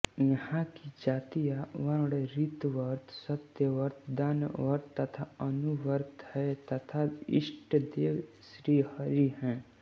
यहाँ की जातियाँ वर्ण ऋतव्रत सत्यव्रत दानव्रत तथा अनुव्रत हैं तथा इष्टदेव श्रीहरि हैं